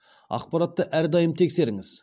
ақпаратты әрдайым тексеріңіз